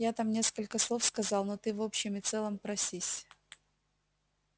я там несколько слов сказал но ты в общем и целом просись